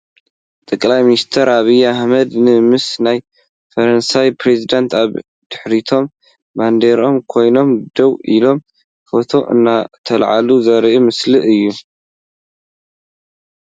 ጠቅላይ ሚኒስቴር ዐብይ ኣህመድ ን ምስ ናይ ፈረንሳይ ፕሬዚዳንት ኣብ ድሕሪቶም ባንዴረኦም ኮይነን ደው ኢሎም ፎቶ እናተለዓሉ ዘርኢ ምስሊ እዩ።